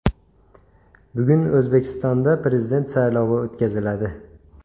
Bugun O‘zbekistonda Prezident saylovi o‘tkaziladi.